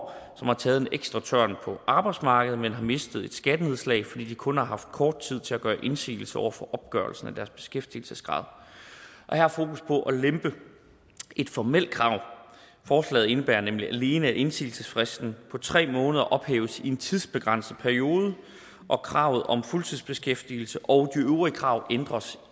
som har taget en ekstra tørn på arbejdsmarkedet men har mistet et skattenedslag fordi de kun har haft kort tid til at gøre indsigelse over for opgørelsen af deres beskæftigelsesgrad her er fokus på at lempe et formelt krav forslaget indebærer nemlig alene at indsigelsesfristen på tre måneder ophæves i en tidsbegrænset periode kravet om fuldtidsbeskæftigelse og øvrige krav ændres